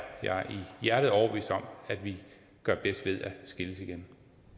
jeg i hjertet overbevist om at vi gør bedst i at skilles igen